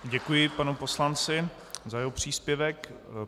Děkuji panu poslanci za jeho příspěvek.